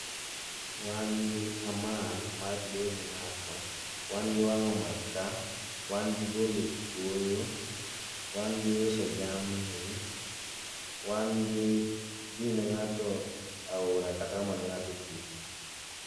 wan gi amal mar dhi doyo ne ng'ato ,wan gi wango maka, wan gi golo kuoyo ,wan gi uso jamni wan gi dhi ne ng'ato aora kata omo ne ngato pi.